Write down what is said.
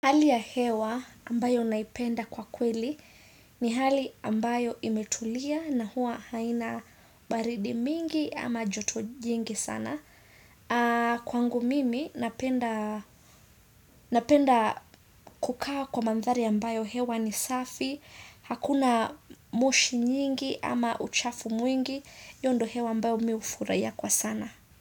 Hali ya hewa ambayo naipenda kwa kweli ni hali ambayo imetulia na hua haina baridi mingi ama joto jingi sana. Kwa ngu mimi napenda kukaa kwa mandhari ambayo hewa ni safi, hakuna moshi nyingi ama uchafu mwingi, hiyo ndo hewa ambayo miufurahia kwa sana.